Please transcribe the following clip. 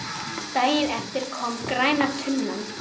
Daginn eftir kom græna tunnan.